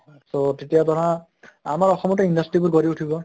so তেতিয়া ধৰা আমাৰ অসমতো industry বোৰ গঢ়ি উঠিব